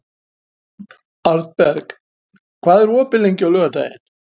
Arnberg, hvað er opið lengi á laugardaginn?